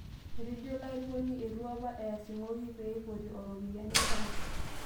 Etejo ilo airukoni eitu apaa eas eng'oki pee eipotu ropiyiani enkaji